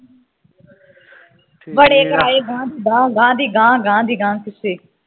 ਬੜੇ ਕਰਾਏ ਗਾਹ ਦੀ ਗਾਹ, ਗਾਹ ਦੀ ਗਾਹ, ਗਾਹ ਦੀ ਗਾਹ, ਕਿੱਸੇ